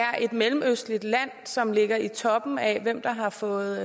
mellemøstligt land som ligger i toppen af hvem der har fået